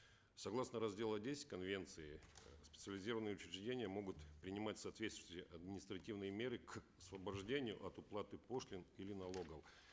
согласно раздела десять конвенции э специализированные учреждения могут принимать соответствующие административные меры к освобождению от уплаты пошлин или налогов